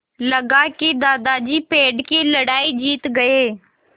लगा कि दादाजी पेड़ की लड़ाई जीत गए